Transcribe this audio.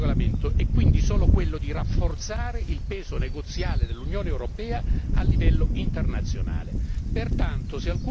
L'obiettivo di questo regolamento è quindi solo quello di rafforzare il peso negoziale dell'Unione europea a livello internazionale.